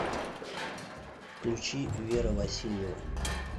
включи вера васильева